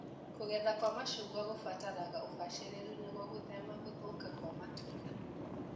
Kũgetha kwa macungwa kũbataraga ũbacĩrĩru nĩguo gũthema gũthũka kwa matunda.